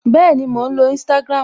Bẹẹni, mò ń lo Instagram